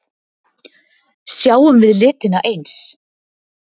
Sjáum við litina eins?